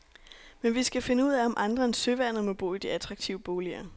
Men vi skal finde ud af om andre end søværnet må bo i de attraktive boliger.